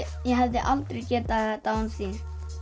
ég hefði aldrei getað þetta án þín